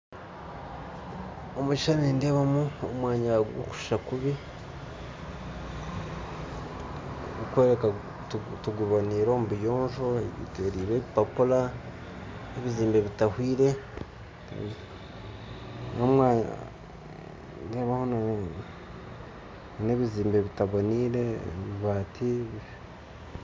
Omu kishuushani nindeebamu omwanya gw'okushuusha kubi, gurikworeka ngu tigubonaire omu buyonjo gwetorirwe ebipapuura n'ebizimbe bitahwire, n'omwanya gutaboneire n'ebibaati